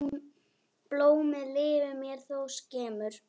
Blómið lifir mér þó skemur.